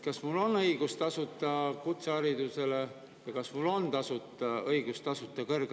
Kas mul on õigus tasuta kutseharidusele ja kas mul on õigus tasuta kõrgharidusele?